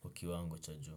kwa kiwango cha juu.